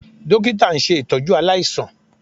Dókítà ń ṣe ìtọ́jú aláìsàn